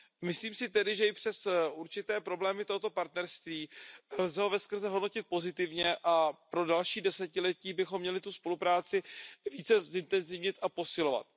Myslím, že i přes určité problémy lze toto partnerství veskrze hodnotit pozitivně a pro další desetiletí bychom měli tu spolupráci více zintenzivnit a posilovat.